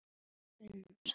Hver yrðu áhrif þess?